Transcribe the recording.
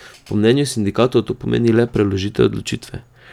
Po mnenju sindikatov to pomeni le preložitev odločitve.